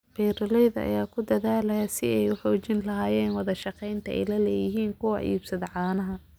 Beeralayda ayaa ku dadaalaya sidii ay u xoojin lahaayeen wada shaqaynta ay la leeyihiin kuwa iibsada caanaha.